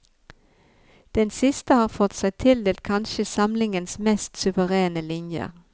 Den siste har fått seg tildelt kanskje samlingens mest suverene linjer.